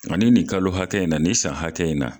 Ani ni nin kalo hakɛ in na, ni san hakɛ in na.